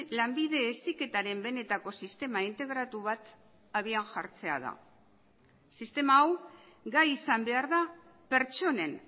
lanbide heziketaren benetako sistema integratu bat abian jartzea da sistema hau gai izan behar da pertsonen